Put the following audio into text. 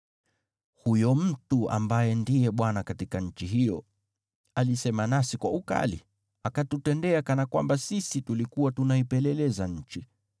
“Huyo mtu ambaye ndiye bwana katika nchi hiyo alisema nasi kwa ukali, akatutendea kana kwamba sisi tulikuwa tunaipeleleza nchi.